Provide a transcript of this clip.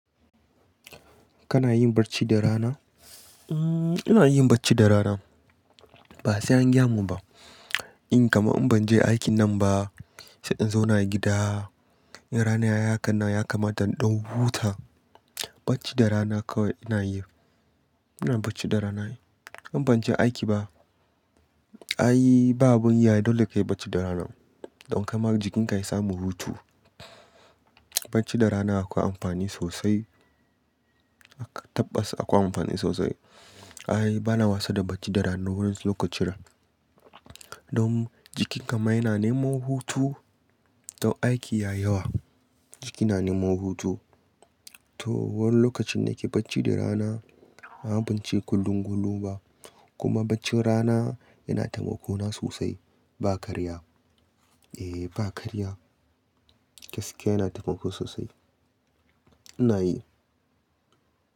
Kana yin barci da rana? Hmm ina yin bacci da rana. Ba sai an gyamu ba. In kaman in ban je aikin nan ba, sai in zauna a gida. In rana ya hakanan ya kama don ɗan huta, barci da rana kawai ina yi. Ina barci da rana ai in ban je aiki ba. Ai ba abun yi ai dole kayi barci da rana. Don kaima jikinka ya samu hutu. Barci da rana akwai amfani sosai. Tabbas akwai amfani sosai. Ai bana wasa da barci da rana wurin su lokaci. Don jikinka ma yana neman hutu. Don aiki yayi yawa jiki na neman hutu. To wurin lokacin nake barci da rana, amma ban ce kullum kullum ba. Kuma barcin rana yana taimako na sosai. Ba karya. Eh ba karya. Gaskiya yana taimako sosai. Ina yi.